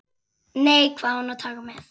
Nei, hvað á hann að taka með?